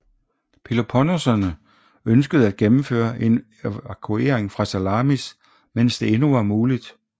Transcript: Peloponneserne ønskede at gennemføre en evakuering fra Salamis mens det endnu var muligt